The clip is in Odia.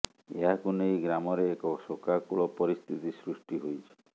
ଏହାକୁ ନେଇ ଗ୍ରାମରେ ଏକ ଶୋକାକୁଳ ପରିସ୍ଥିତି ସୃଷ୍ଟି ହୋଇଛି